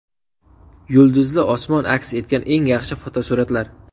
Yulduzli osmon aks etgan eng yaxshi fotosuratlar .